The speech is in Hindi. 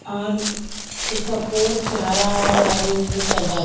और उसका पोर्च हरा और ऑरेंज में सजा--